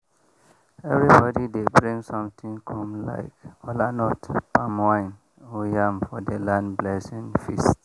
everybody dey bring something come like kolanut palm wine or yam for the land blessing feast.